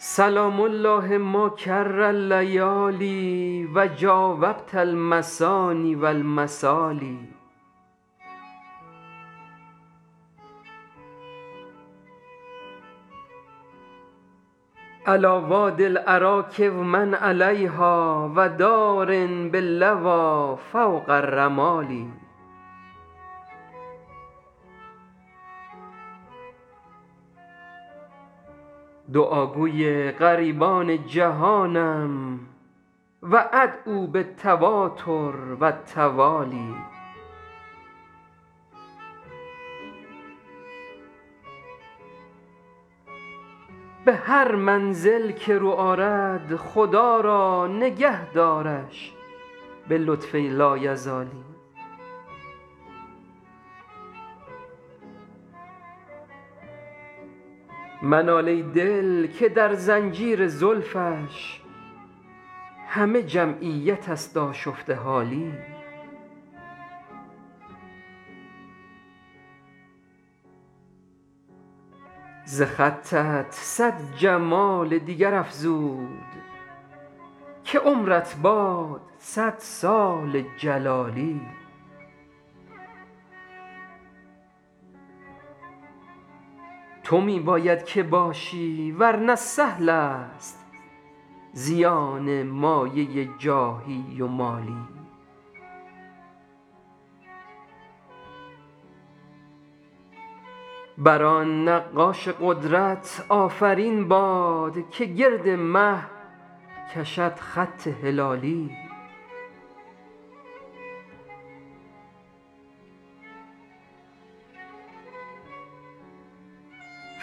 سلام الله ما کر اللیالی و جاوبت المثاني و المثالي علیٰ وادي الأراک و من علیها و دار باللویٰ فوق الرمال دعاگوی غریبان جهانم و أدعو بالتواتر و التوالي به هر منزل که رو آرد خدا را نگه دارش به لطف لایزالی منال ای دل که در زنجیر زلفش همه جمعیت است آشفته حالی ز خطت صد جمال دیگر افزود که عمرت باد صد سال جلالی تو می باید که باشی ور نه سهل است زیان مایه جاهی و مالی بر آن نقاش قدرت آفرین باد که گرد مه کشد خط هلالی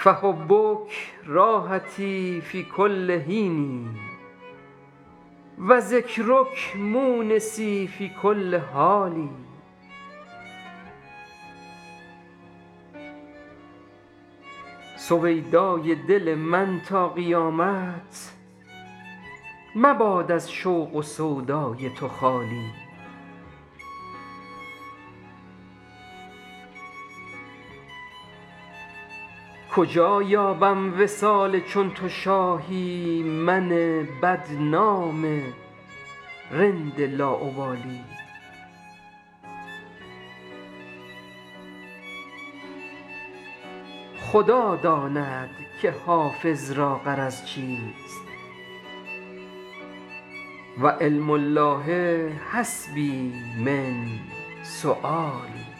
فحبک راحتی فی کل حین و ذکرک مونسی فی کل حال سویدای دل من تا قیامت مباد از شوق و سودای تو خالی کجا یابم وصال چون تو شاهی من بدنام رند لاابالی خدا داند که حافظ را غرض چیست و علم الله حسبي من سؤالي